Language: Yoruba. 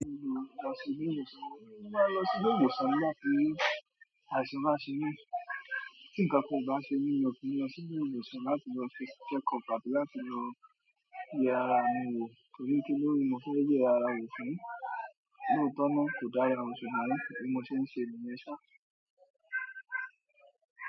Mo máa ń lọ sí ile ìwòsàn láti àìsàn ba se mí. Ti nǹkan kan kò bá ṣe mí ni mo fi lọ sí ile ìwòsàn láti lọ ṣe check up àti láti lọ yẹ ara mi wò torí kí ló wù mí mo fẹ́ yẹ ara mi wò fún lotona kò dára, ṣùgbọ́n ni mo ti ń ṣe ìmúnisá.